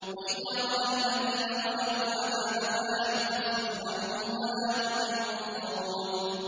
وَإِذَا رَأَى الَّذِينَ ظَلَمُوا الْعَذَابَ فَلَا يُخَفَّفُ عَنْهُمْ وَلَا هُمْ يُنظَرُونَ